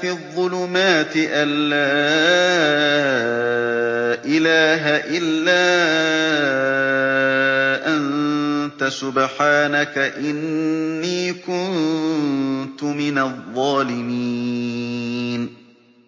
فِي الظُّلُمَاتِ أَن لَّا إِلَٰهَ إِلَّا أَنتَ سُبْحَانَكَ إِنِّي كُنتُ مِنَ الظَّالِمِينَ